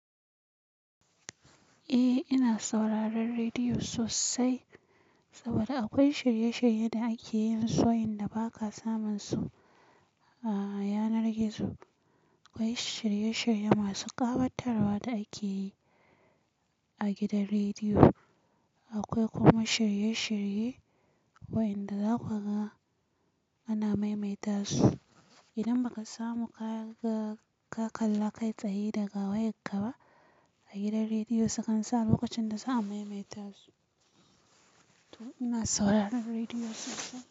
Eh, ina sauraron rediyo sosai saboda akwai shirye-shirye da ake yin su wayanda ba ka samun su a yanar gizo. Akwai shirye-shirye masu ƙawatarwa da ake yi a gidan rediyo. Akwai kuma shirye-shirye wa'inda za ku ga ana maimaita su idan ba ka samu ka kalla kai tsaye daga wayanka ba. A gidan rediyo sukan sa lokacin da za a maimaita su. To ina sauraron rediyo sosai.